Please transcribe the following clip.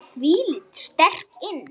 Hún kom þvílíkt sterk inn.